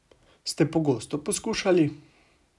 Ste pogosto poskušali?